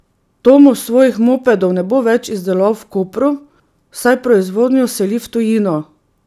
Tomos svojih mopedov ne bo več izdeloval v Kopru, saj proizvodnjo seli v tujino.